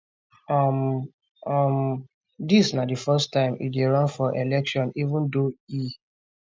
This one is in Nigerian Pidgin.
um um dis na di first time e dey run for election even though e